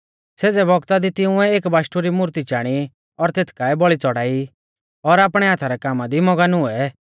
सेज़ै बौगता दी तिंउऐ एक बाशटु री मूर्ती चाणी और तेथ काऐ बौल़ी च़ड़ाई और आपणै हाथा रै कामा दी मगन हुऐ